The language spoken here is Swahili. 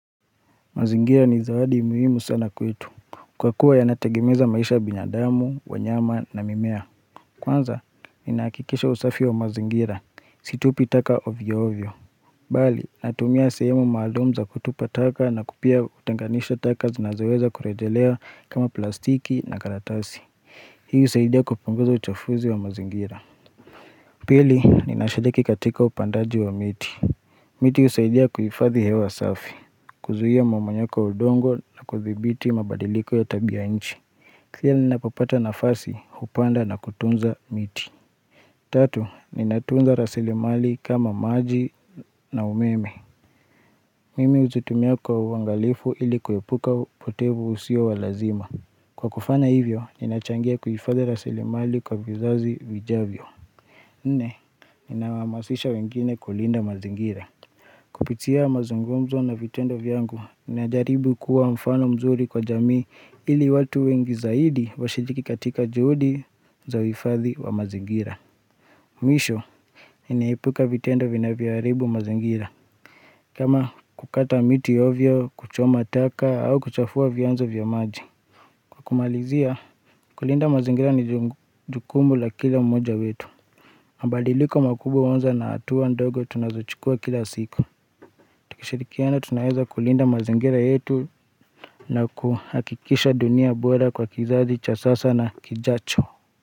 Mazingira ni zawadi muhimu sana kwetu, kwa kuwa yanatengeneza maisha ya binadamu, wanyama na mimea. Kwanza, ninahakikisha usafi wa mazingira, situpi taka ovyo ovyo. Bali, natumia sehemu maalum za kutupa taka na pia kutenganisha taka zinazoweza kurejelea kama plastiki na karatasi. Hii husaidia kupunguza uchafuzi wa mazingira. Pili, ninashiriki katika upandaji wa miti. Miti husaidia kuhifadhi hewa safi, kuzuia mmonyoko wa udongo na kuthibiti mabadiliko ya tabia nchi. Pia ninapopata nafasi, hupanda na kutunza miti Tatu, ninatunza rasilimali kama maji na umeme Mimi huzitumia kwa uangalifu ili kuepuka upotevu usio wa lazima. Kwa kufanya hivyo, ninachangia kuhifadhi rasilimali kwa vizazi vijavyo Nne, ninawahamasisha wengine kulinda mazingira Kupitia mazungumzo na vitendo vyangu najaribu kuwa mfano mzuri kwa jamii ili watu wengi zaidi washiriki katika juhudi za uhifadhi wa mazingira. Mwisho, ninaepuka vitendo vinavyoharibu mazingira kama kukata miti ovyo, kuchoma taka au kuchafua vyanzo vya maji. Kumalizia, kulinda mazingira ni jukumu la kila mmoja wetu. Mabadiliko makubwa uanza na hatua ndogo tunazochukua kila siku. Tukishirikiana tunaweza kulinda mazingira yetu na kuhakikisha dunia bora kwa kizazi, cha sasa na kijacho.